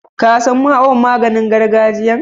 Ka san awon maganin gargajiyan?